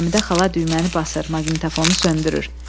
Həmidə xala düyməni basır, maqnitofonu söndürür.